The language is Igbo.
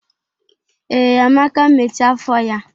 Ee, Amake mechaa afọ ya